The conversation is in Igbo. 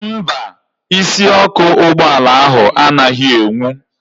Mba, isiọkụ ụgbọala ahụ anaghị enwu